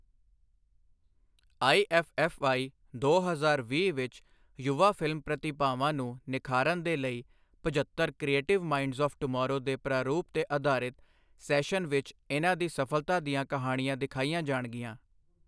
IFFI, ਦੋ ਹਜ਼ਾਰ ਵੀਹ ਵਿੱਚ ਯੁਵਾ ਫਿਲਮ ਪ੍ਰਤਿਭਾਵਾਂ ਨੂੰ ਨਿਖਾਰਨ ਦੇ ਲਈ ਪਝੱਤਰ ਕ੍ਰਿਏਟਿਵ ਮਾਈਡ੍ਸ ਆਵ੍ ਟੁਮਾਰੋ ਦੇ ਪ੍ਰਾਰੂਪ ਤੇ ਅਧਾਰਿਤ ਸ਼ੈਸਨ ਵਿੱਚ ਇਨ੍ਹਾਂ ਦੀ ਸਫ਼ਲਤਾ ਦੀਆਂ ਕਹਾਣੀਆਂ ਦਿਖਾਈਆਂ ਜਾਣਗੀਆਂ।